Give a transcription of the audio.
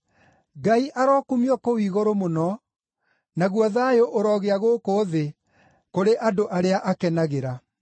“Ngai arokumio kũu igũrũ mũno, naguo thayũ ũrogĩa gũkũ thĩ kũrĩ andũ arĩa akenagĩra.”